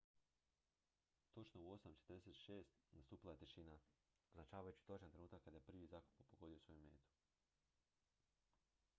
točno u 8:46 nastupila je tišina označavajući točan trenutak kada je prvi zrakoplov pogodio svoju metu